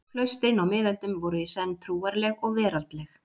Klaustrin á miðöldum voru í senn trúarleg og veraldleg.